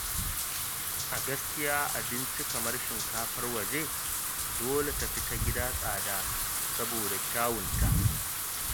A gaskiya abinci kamar shinkafar waje dole tafi ta gida tsada saboda kyawunta.